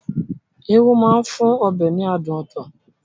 Irú máa ń fún ọbẹ̀ ní adùn ọtọ̀